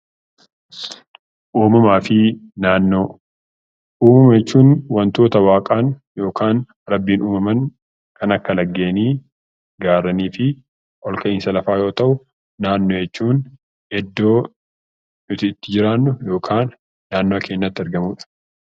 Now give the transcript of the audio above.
Uumama fi naannoo Uumama jechuun waantota waaqaan yookaan rabbiin uumaman kan akka lageenii, gaarreenii fi olka'iinsa lafaa yoo ta'u, naannoo jechuun iddoo nuti itti jiraannu yookaan naannoo keenyatti argamudha.